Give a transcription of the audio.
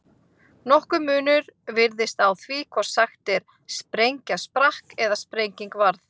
Nokkur munur virðist á því hvort sagt er sprengja sprakk eða sprenging varð.